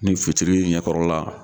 Ni fitiri ɲɛkɔrɔ la.